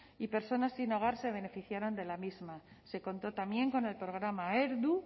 y personas sin hogar se beneficiaron de la misma se contó también con el programa heldu